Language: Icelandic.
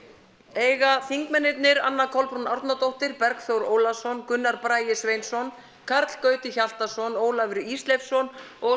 eiga þingmennirnir Anna Kolbrún Árnadóttir Bergþór Ólason Gunnar Bragi Sveinsson Karl Gauti Hjaltason Ólafur Ísleifsson og